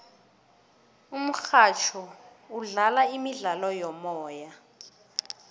umurhatjho udlala imidlalo yomoya